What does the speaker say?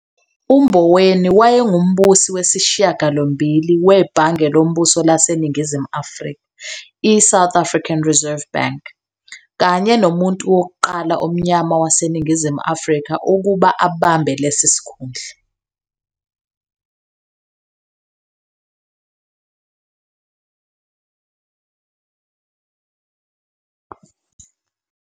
UMboweni wayengumbusi wesishiyagalombili weBhange loMbuso laseNingizimu Afrika, i-"South African Reserve Bank", kanye nomuntu wokuqala omnyama waseNingizimu Afrika ukuba abambe lesi sikhundla.